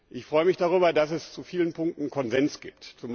Ich freue mich darüber, dass es in vielen Punkten Konsens gibt.